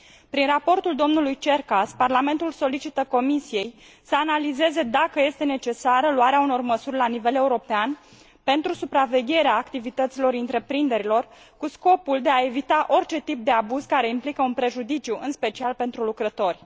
Prin raportul dlui Cercas, Parlamentul solicită Comisiei să analizeze dacă este necesară luarea unor măsuri la nivel european pentru supravegherea activităților întreprinderilor, cu scopul de a evita orice tip de abuz care implică un prejudiciu, în special pentru lucrători.